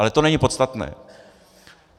Ale to není podstatné.